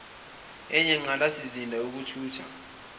enye inqalasizinda yezokuthutha